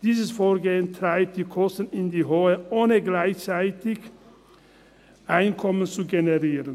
Dieses Vorgehen treibt die Kosten in die Höhe, ohne gleichzeitig Einkommen zu generieren.